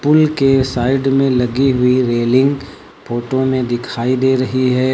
पुल के साइड में लगी हुई रेलिंग फोटो में दिखाई दे रही है।